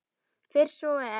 Fyrst svo er.